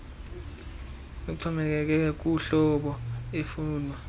uxhomekeke kuhlobo efunwa